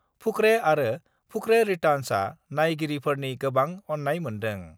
फुकरे आरो फुकरे रिटार्न्सआ नायगिरिफोरनि गोबां अननाय मोन्दों।